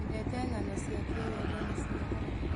Nyendete ng'ano cia kĩwendo na cia haro.